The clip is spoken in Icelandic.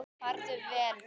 Farðu vel, vinur.